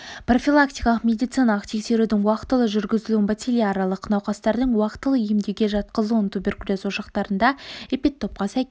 профилактикалық медициналық тексерудің уақытылы жүргізілуін бациллярлық науқастардың уақытылы емдеуге жатқызылуын туберкулез ошақтарында эпидтопқа сәйкес